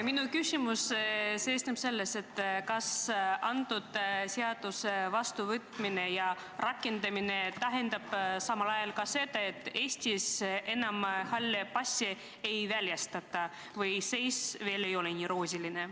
Minu küsimus on järgmine: kas antud seaduse vastuvõtmine ja rakendamine tähendab samal ajal seda, et Eestis enam halle passe ei väljastata, või ei ole seis veel nii roosiline?